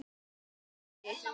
Í messi.